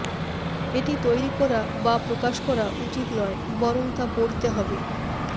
এটি তৈরি করা বা প্রকাশ করা উচিত নয় বরং তা পড়তে হবে